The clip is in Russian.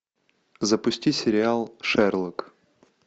запусти сериал шерлок